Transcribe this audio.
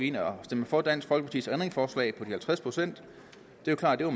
ind og stemte for dansk folkepartis ændringsforslag på de halvtreds procent det er klart at